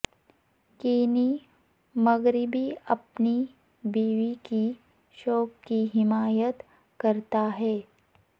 Kenny مغربی اپنی بیوی کی شوق کی حمایت کرتا ہے